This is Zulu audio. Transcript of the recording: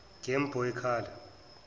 game boy color